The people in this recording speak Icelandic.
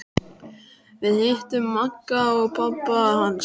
Við hittum Magga og pabba hans!